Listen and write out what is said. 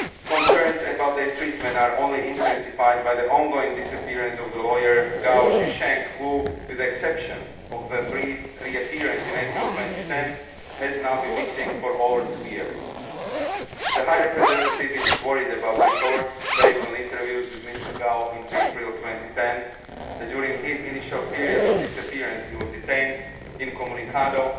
Concerns about their treatment are only intensified by the ongoing disappearance of the lawyer Gao Zhisheng who, with the exception of a brief reappearance in April 2010, has now been missing for over two years. The High Representative is worried about reports based on interviews with Mr Gao in April 2010 that during his initial period of disappearance, he was detained incommunicado